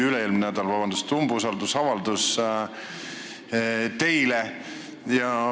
Üle-eelmisel nädalal oli siin just teie umbusaldamise avaldus.